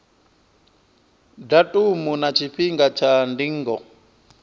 datumu na tshifhinga tsha ndingo